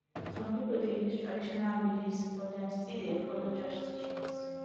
some pipo dey use traditional beliefs but dem still dey follow church teachings